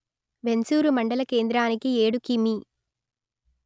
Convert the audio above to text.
వెంసూరు మందల కేంద్రానికి ఏడు కిమీ